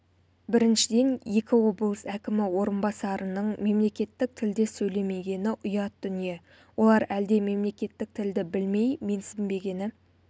біріншіден екі облыс әкімі орынбасарының мемлекеттік тілде сөйлемегені ұят дүние олар әлде мемлекеттік тілді білмей менсінбегені